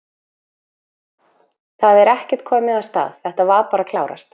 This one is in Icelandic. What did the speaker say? Það er ekkert komið af stað, þetta var bara að klárast?